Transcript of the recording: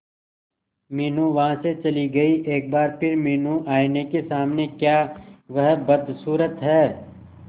मीनू वहां से चली गई एक बार फिर मीनू आईने के सामने क्या वह बदसूरत है